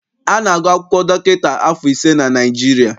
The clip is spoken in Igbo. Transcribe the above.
A na-agụ akwụkwọ dọkịta afọ ise na Naịjirịa.